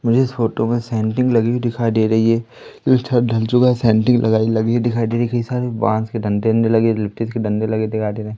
मुझे इस फोटो में सेंटिंग लगी हुई दिखाई दे रही है छत ढल चुका है सेंटिंग लगाई लगी हुई दिखाई दे रही की हिसाब से बांस के डंडे अंडे लगे के डंडे लगे दिखाई दे रहे--